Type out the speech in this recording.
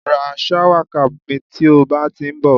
ra shower cap mi ti o ba ti nbo